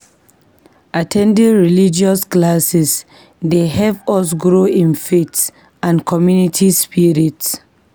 At ten ding religious classes dey help us grow in faith and community spirit.